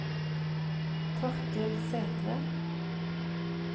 Torkel Sætre